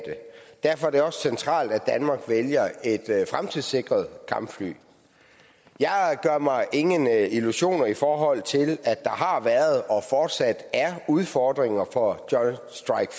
derfor er det også centralt at danmark vælger et fremtidssikret kampfly jeg gør mig ingen illusioner i forhold til at der har været og fortsat er udfordringer for joint strike